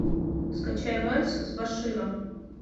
скачай вальс с баширом